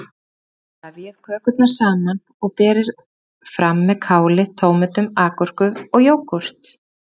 Vefjið kökurnar saman og berið fram með káli, tómötum, agúrku og jógúrt.